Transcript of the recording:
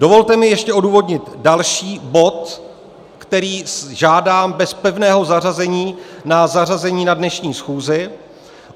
Dovolte mi ještě odůvodnit další bod, který žádám bez pevného zařazení na zařazení na dnešní schůzi.